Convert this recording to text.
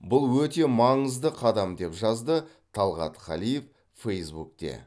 бұл өте маңызды қадам деп жазды талғат қалиев фэйсбукте